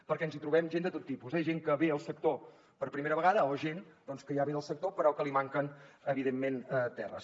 perquè ens trobem gent de tot tipus eh gent que ve al sector per primera vegada o gent que ja ve del sector però que li manquen evidentment terres